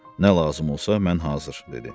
Nə lazım olsa mən hazır, dedi.